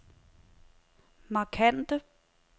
markante